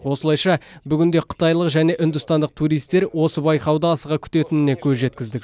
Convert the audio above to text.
осылайша бүгінде қытайлық және үндістандық туристер осы байқауды асыға күтетіне көз жеткіздік